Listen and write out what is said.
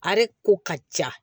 A yɛrɛ ko ka ca